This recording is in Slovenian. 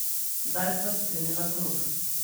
Sedaj sva sklenila krog.